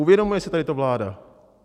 Uvědomuje si tady to vláda?